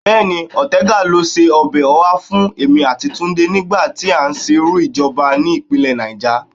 Bẹ́ẹ̀ni, Ọ̀tẹgà ló se ọbẹ̀ ọhá fún èmi àti Túndé nígbà tí à ń sìnrú ìjọba ni ìpínlẹ̀ Náíjà